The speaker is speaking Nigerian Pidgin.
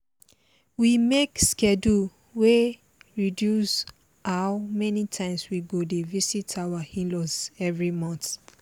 we make schedule wey reduce how many times we go dey visit our in-laws every month